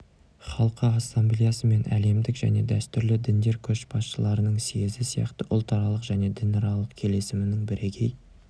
халқы ассамблеясы мен әлемдік және дәстүрлі діндер көшбасшыларының съезі сияқты ұлтаралық және дінаралық келісімнің бірегей